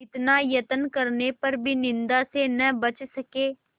इतना यत्न करने पर भी निंदा से न बच सके